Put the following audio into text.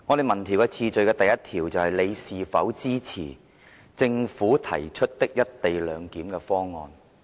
民調的第一條是"你是否支持政府提出的一地兩檢方案？